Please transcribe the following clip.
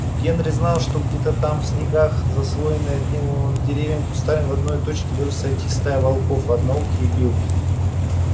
генри знал что где то там в снегах заслоенные от него деревьями и кустами в одной точке должны сойтись стая волков одноухий и билл